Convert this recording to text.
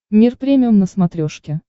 мир премиум на смотрешке